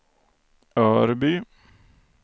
Örby